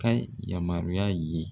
Ka yamaruya ye